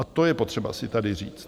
A to je potřeba si tady říct.